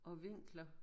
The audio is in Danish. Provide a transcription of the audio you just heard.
Og vinkler